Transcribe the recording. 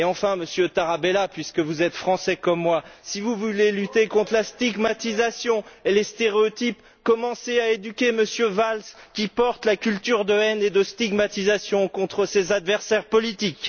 Et enfin, Monsieur Tarabella puisque vous êtes Français comme moi si vous voulez lutter contre la stigmatisation et les stéréotypes, commencez à éduquer M. Valls qui porte la culture de haine et de stigmatisation contre ses adversaires politiques.